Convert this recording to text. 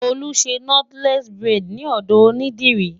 Tolú ń ṣe Nọ́tílẹ́ẹ̀sì buredì ní ọ̀dọ̀ onídìrí.